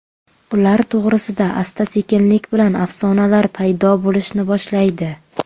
Ular to‘g‘risida asta-sekinlik bilan afsonalar paydo bo‘lishni boshlaydi.